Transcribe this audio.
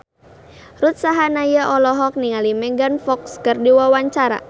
Ruth Sahanaya olohok ningali Megan Fox keur diwawancara